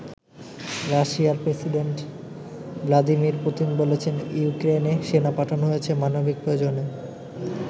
রাশিয়ার president Vladimir Putin বলেছেন ইউক্রেনে সেনা পাঠানো হয়েছে মানবিক প্রয়োজনে।